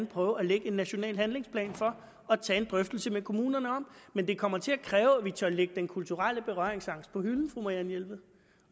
prøve at lægge en national handlingsplan for og tage en drøftelse med kommunerne om men det kommer til at kræve at vi tør lægge den kulturelle berøringsangst på hylden